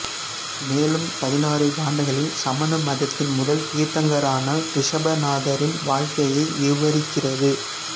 மேலும் பதினாறு காண்டங்களில் சமண மதத்தின் முதல் தீர்த்தங்கரரான ரிசபநாதரின் வாழ்க்கையை விவரிக்கிறது